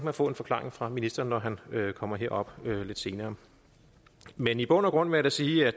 at få en forklaring fra ministeren når han kommer herop lidt senere men i bund og grund vil jeg sige at